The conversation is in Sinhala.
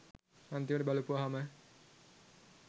අන්තිමට බලපුවහම